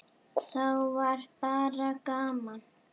Þá var bara gaman.